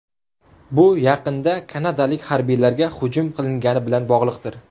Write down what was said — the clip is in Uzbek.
Bu yaqinda kanadalik harbiylarga hujum qilingani bilan bog‘liqdir.